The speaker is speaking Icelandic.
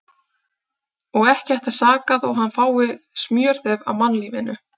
Og ekki ætti að saka þó hann fái smjörþef af mannlífinu.